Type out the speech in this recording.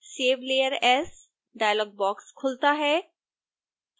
save layer as dialog box खुलता है